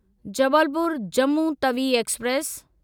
Jabalpur Jammu Tawi express